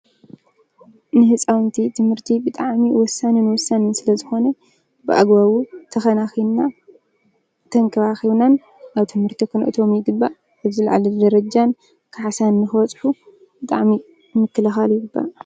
ንህፃውንቲ ትምህርቲ ብጣዕሚ ወሳንን ስለዝኾነ ብኣግባቡ ተኸናኺናን ተንከባኺብናን ኣብ ትምህርቲ ክነእትዎም ይግባእ፡፡ ኣብ ዝላዓለ ደረጃን ካሕሳን ብጣዕሚ ምክልኻል ይግባእ፡፡